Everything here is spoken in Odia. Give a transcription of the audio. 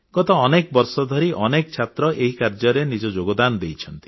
ଗତ ଅନେକ ବର୍ଷ ଧରି ଅନେକ ଛାତ୍ର ଏହି କାର୍ଯ୍ୟରେ ନିଜ ଯୋଗଦାନ ଦେଇଛନ୍ତି